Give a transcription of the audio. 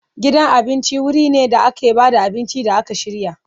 Gidan cin abinci wuri ne da ake ba da abinci da aka shirya.